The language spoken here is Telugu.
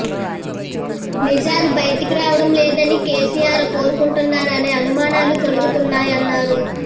నిజాలు బయటకు రావడం లేదని కేసీఆర్ కోరుకుంటున్నారా అనే అనుమానాలు కలుగుతున్నాయన్నారు